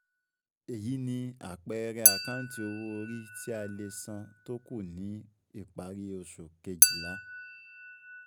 Èyí ni àpẹẹrẹ àkáǹtì owó orí tí a lè san tó kù ni parí oṣù Kejìlá